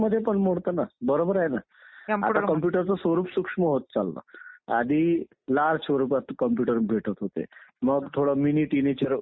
निवडून देण्याचे अधिकार लोकांना होते. त्याला गणतंत्र म्हणायचे. गणतंत्र हा जो शब्द आला आपल्या राज्य घटनेत तो डॉ. बाबासाहेब आंबेडकर ह्यांनी बुद्ध काळातून घेतलेला आहे